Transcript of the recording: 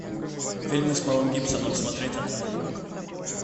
фильмы с мэлом гибсоном смотреть онлайн